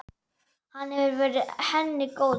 Hann hefur verið henni góður.